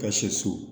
Ka se so